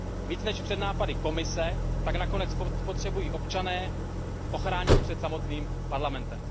Více než před nápady Komise tak nakonec potřebují občané ochránit před samotným Parlamentem.